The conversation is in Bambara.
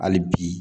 Hali bi